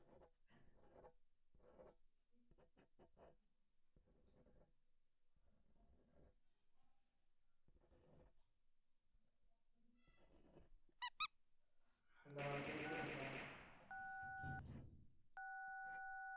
hello கேட்குதுங்களா